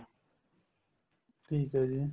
ਠੀਕ ਏ ਜੀ